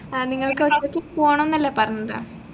ആഹ് നിങ്ങൾക്ക് ഒറ്റക്ക് പോണംന്നല്ലെ പറഞ്ഞത്